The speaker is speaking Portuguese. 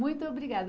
Muito obrigada.